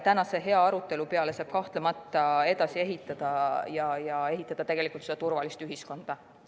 Tänase hea arutelu peale saab kahtlemata edasi ehitada turvalist ühiskonda.